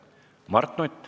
Mart Nutt.